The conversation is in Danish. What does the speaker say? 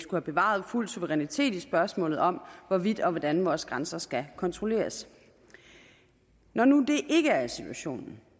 have bevaret fuld suverænitet i spørgsmålet om hvorvidt og hvordan vores grænser skal kontrolleres når nu det ikke er situationen